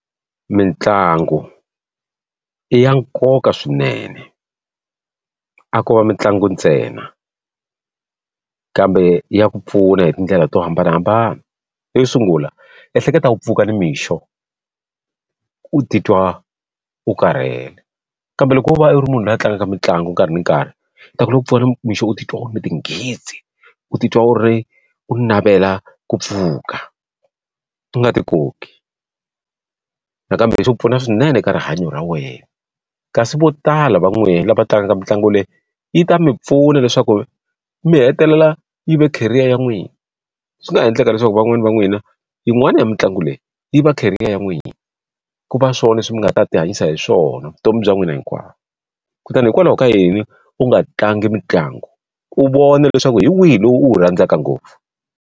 Mintlangu i ya nkoka swinene. A ko va mitlangu ntsena, kambe ya ku pfuna hi tindlela to hambanahambana. Yo sungula ehleketa ku pfuka nimixo u titwa u karhele, kambe loko u va u ri munhu loyi a tlangaka mitlangu nkarhi ni nkarhi, u ta ku loko u pfuna ni mixo u titwa u ri na tinghitsi, u titwa u ri u navela ku pfuka, u nga ti koki. Nakambe leswi pfuna swinene ka rihanyo ra wena. Kasi vo tala va n'wina lava tlangaka mitlangu leyi, yi ta mi pfuna leswaku mi hetelela yi ve career ya n'wina. Swi nga ha endleka leswaku van'wana va n'wina yin'wana ya mitlangu leyi yi va career ya n'wina, ku va swona leswi mi nga ta ti hanyisa hi swona vutomi bya n'wina hinkwawo. Kutani hikwalaho ka yini u nga tlangi mitlangu, u vona leswaku hi wihi lowu u wu rhandzaka ngopfu?